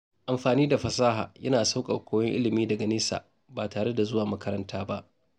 Amfani da fasaha yana sauƙaƙa koyon ilimi daga nesa ba tare da zuwa makaranta ba.